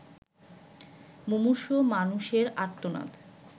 মুমূর্ষু মানুষের আর্তনাদ